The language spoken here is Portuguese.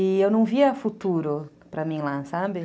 E eu não via futuro para mim lá, sabe?